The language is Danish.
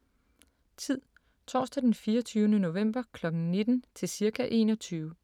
Tid: Torsdag d. 24. november kl. 19 til cirka 21